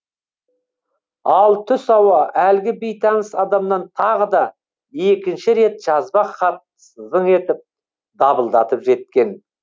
ал түс ауа әлгі бейтаныс адамнан тағы да екінші рет жазба хат зың етіп дабылдатып жеткен